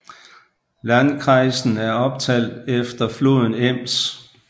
Landkreisen er opkaldt efter floden Ems